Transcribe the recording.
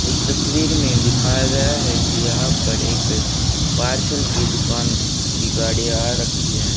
इस तस्वीर में दिखाया गया है कि यहां पर एक पार्सल की दुकान की गाड़ियां रखी है।